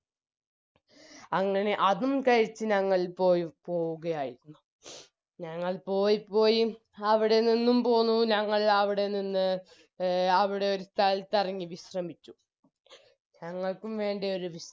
അങ്ങനെ അതും കഴിച്ച് ഞങ്ങൾ പോയി പോവുകയായി ഞങ്ങൾ പോയി പോയി അവിടെ നിന്നും പോന്നു ഞങ്ങൾ അവിടെ നിന്ന് എ അവിടെ ഒരു സ്ഥലത്തിറങ്ങി വിശ്രമിച്ചു ഞങ്ങൾക്കും വേണ്ടേ ഒരു വി